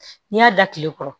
N'i y'a da tile kɔrɔ